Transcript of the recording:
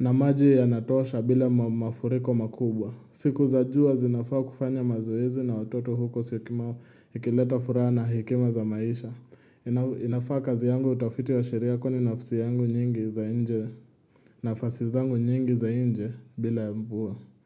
na maji yanatosha bila mafuriko makubwa. Siku za jua zinafaa kufanya mazoezi na watoto huko Syokimau ikileta furaha na hekima za maisha. Inafaa kazi yangu, utafiti wa sheria kwani nafasi yangu nyingi za nje nafasi zangu nyingi za nje bila ya mvua.